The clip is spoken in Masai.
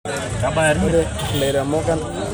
Ore leiremok kenare neun ndaiki naidimu olameyu.